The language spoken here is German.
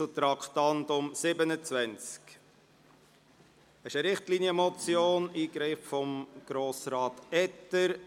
Das ist eine Richtlinienmotion, eingereicht von Grossrat Etter.